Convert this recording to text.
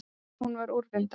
Hún var úrvinda.